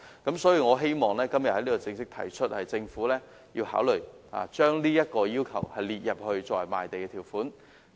因此，我希望今天正式提出，政府必須考慮將這要求列為賣地的條款。